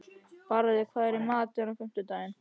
Barði, hvað er í matinn á fimmtudaginn?